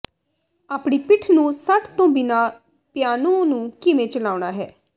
ਆਪਣੀ ਪਿੱਠ ਨੂੰ ਸੱਟ ਤੋਂ ਬਿਨਾਂ ਪਿਆਨੋ ਨੂੰ ਕਿਵੇਂ ਚਲਾਉਣਾ ਹੈ